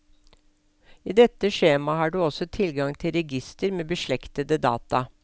I dette skjemaet har du ogå tilgang til register med beslektede data.